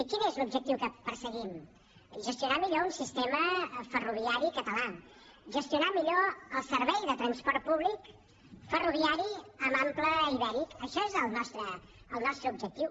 quin és l’objectiu que perseguim gestionar millor un sistema ferroviari català gestionar millor el servei de transport públic ferroviari amb ample ibèric això és el nostre objectiu